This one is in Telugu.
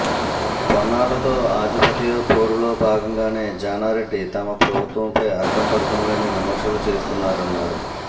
పొన్నాలతో ఆధిపత్యపోరులో భాగంగానే జానారెడ్డి తమ ప్రభుత్వంపై అర్థంపర్థంలేని విమర్శలు చేస్తున్నారన్నారు